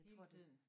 Jeg tror det